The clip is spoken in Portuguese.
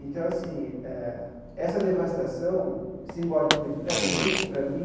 Então, assim, ah essa devastação, simbolicamente para a gente, para mim,